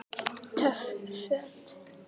Töff Föt